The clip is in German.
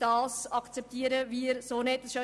Das akzeptieren wird so nicht.